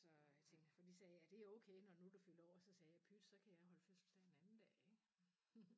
Så jeg tænkte for de sagde er det okay når nu du fylder år så sagde jeg pyt så kan jeg holde fødselsdag en anden dag ik